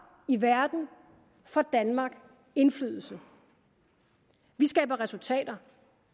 i verden får danmark indflydelse vi skaber resultater